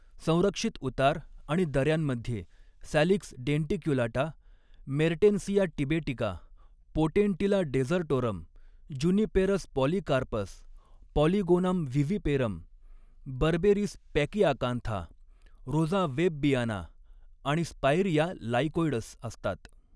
संरक्षित उतार आणि दऱ्यांमध्ये सॅलिक्स डेंटिक्युलाटा, मेर्टेन्सिया टिबेटिका, पोटेंटिला डेझर्टोरम, जुनिपेरस पॉलीकार्पस, पॉलीगोनम व्हिव्हिपेरम, बर्बेरिस पॅकीआकांथा, रोझा वेबबियाना आणि स्पाइरिया लाइकोइड्स असतात.